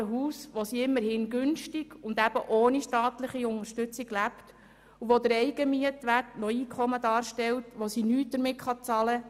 Vom abbezahlten Haus, wo sie immerhin günstig und ohne staatliche Unterstützung lebt, stellt der Eigenmietwert Einkommen dar, aber damit kann nichts bezahlt werden.